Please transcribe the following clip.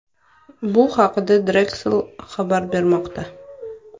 Bu haqda Drexel xabar bermoqda .